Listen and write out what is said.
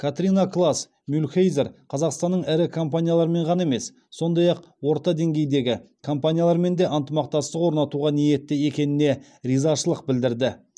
катрина клаас мюльхейзер қазақстанның ірі компаниялармен ғана емес сондай ақ орта деңгейдегі компаниялармен де ынтымақтастық орнатуға ниетті екеніне ризашылық білдірді